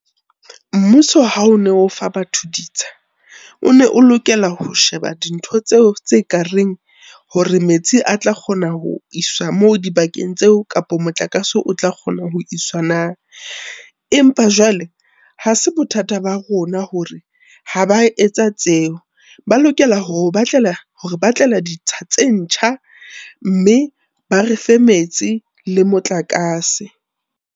Mmuso ha o ne o fa batho ditsha, o ne o lokela ho sheba dintho tseo tse kareng hore metsi a tla kgona ho iswa moo dibakeng tseo kapa motlakase o tla kgona ho iswa na. Empa jwale ha se bothata ba rona hore ha ba etsa tseo. Ba lokela hore batlela ditsha tse ntjha mme ba refe metsi le motlakase.